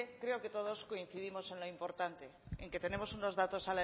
creo que todos coincidimos en lo importante en que tenemos unos datos